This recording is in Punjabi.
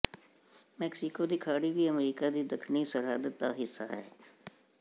ਮੈਕਸੀਕੋ ਦੀ ਖਾੜੀ ਵੀ ਅਮਰੀਕਾ ਦੀ ਦੱਖਣੀ ਸਰਹੱਦ ਦਾ ਹਿੱਸਾ ਹੈ